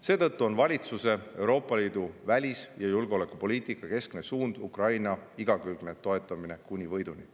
Seetõttu on valitsuse Euroopa Liidu välis- ja julgeolekupoliitika keskne suund Ukraina igakülgne toetamine kuni võiduni.